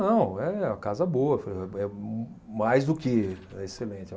Não, é uma casa boa, é mais do que, é excelente.